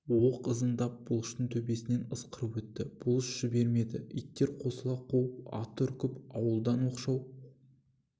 оқ ызыңдап бұлыштың төбесінен ысқырып өтті бұлыш жібермеді иттер қосыла қуып аты үркіп ауылдан оқшау